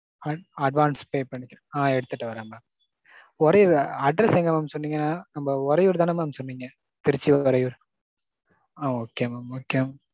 ~ advance pay பண்குறேன். ஆ எடுத்துட்டு வர்றேன் mam. ஒரேதா address எங்க mam சொன்னிங்க? நம்ம உறையூர் தானே mam சொன்னிங்க? திருச்சி உறையூர். ஆ okay mam okay mam.